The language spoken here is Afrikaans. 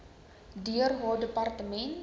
deur haar departement